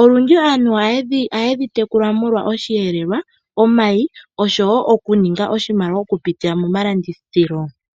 Olundji aantu ohayedhi tekula molwa osheelelwa, omayi, oshowo okuninga oshimaliwa, okupitila momalandithilo.